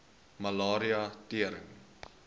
malaria tering